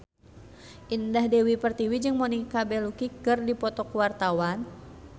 Indah Dewi Pertiwi jeung Monica Belluci keur dipoto ku wartawan